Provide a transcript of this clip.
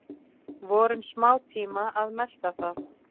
Vorum smátíma að melta það.